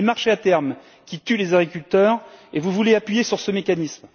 Ce sont les marchés à terme qui tuent les agriculteurs et vous voulez appuyer sur ce mécanisme.